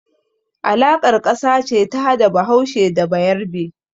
Alaƙar ƙasa ce ta hada Bahaushe da Bayarbe.